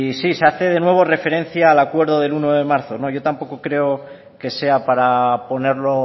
sí se hace de nuevo referencia al acuerdo del uno de marzo no yo tampoco creo que sea para ponerlo